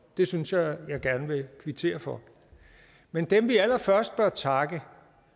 det synes jeg jeg gerne vil kvittere for men dem vi allerførst bør takke